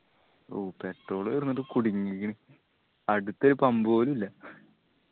ഊ petrol തീർന്നിട്ട് കുടുങ്ങിയിക്കണ് അടുത്ത് ഒരു pump പോലു ഇല്ല